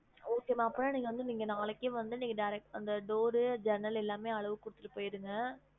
Okay மா அப்பனா நீங்க வந்து நீங்க நாளைக்கே வந்து நீங்க direct ஆ அந்த door ஜன்னல் எல்லாமே அளவு குடுத்திட்டு போயிருங்க